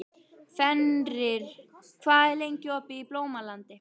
Fenrir, hvað er lengi opið í Blómalandi?